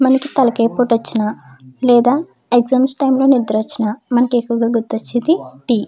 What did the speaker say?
మనకి తలకి ఏ పోటీ వచ్చిన లేదా ఎగ్జామ్స్ టైం లో నిద్ర వచ్చిన మనకి ఎక్కువగా గుర్తొచ్చేది టీ .